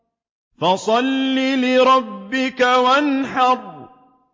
فَصَلِّ لِرَبِّكَ وَانْحَرْ